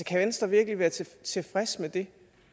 kan venstre virkelig være tilfreds med